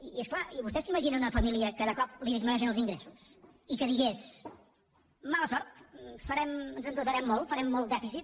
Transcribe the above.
i és clar vostès s’imaginen una família que de cop li disminueixin els ingressos i que digués mala sort ens endeutarem molt farem molt dèficit